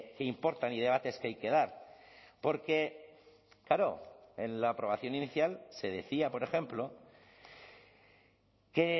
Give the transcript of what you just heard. que importan y debates que hay que dar porque claro en la aprobación inicial se decía por ejemplo que